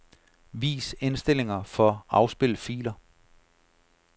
Vis indstillinger for afspil filer.